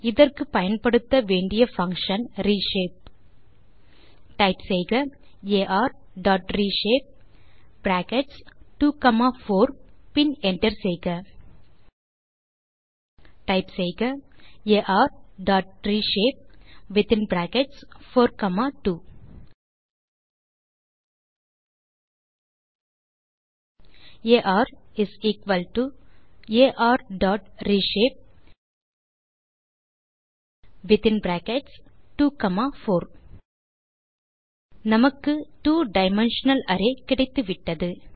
இதற்கு பயன்படுத்த வேண்டிய பங்ஷன் reshape டைப் செய்க arரேஷப்பே பிராக்கெட்ஸ் 2 காமா 4 பின் என்டர் செய்க டைப் செய்க arரேஷப்பே வித்தின் பிராக்கெட்ஸ் 4 காமா 2 ஆர் ஆர் டாட் ரேஷப்பே வித்தின் பிராக்கெட்ஸ் 24 நமக்கு two டைமென்ஷனல் அரே கிடைத்துவிட்டது